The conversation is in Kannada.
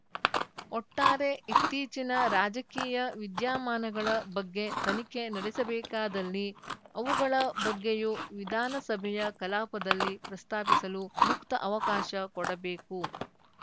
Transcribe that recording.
ಒಟ್ಟಾರೆ ಇತ್ತೀಚಿನ ರಾಜಕೀಯ ವಿದ್ಯಮಾನಗಳ ಬಗ್ಗೆ ತನಿಖೆ ನಡೆಸಬೇಕಾದಲ್ಲಿ ಅವುಗಳ ಬಗ್ಗೆಯೂ ವಿಧಾನಸಭೆಯ ಕಲಾಪದಲ್ಲಿ ಪ್ರಸ್ತಾಪಿಸಲು ಮುಕ್ತ ಅವಕಾಶ ಕೊಡಬೇಕು